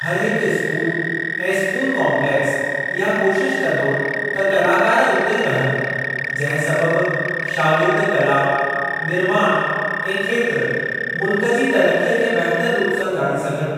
हरहिक स्कूल ऐं school complex इहा कोशिश कंदो त कलाकार उते ई रहनि, जंहिं सबब शागिर्द कला, निर्माण ऐं खेत्र, मुल्क जी तरक़ीअ खे बहितर रूप सां ॼाणी सघनि।